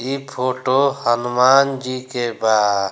इ फोटो हनुमन जी के बा।